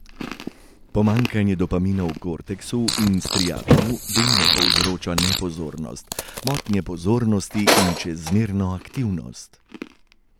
Pomanjkanje dopamina v korteksu in striatumu delno povzroča nepozornost, motnje pozornosti in čezmerno aktivnost.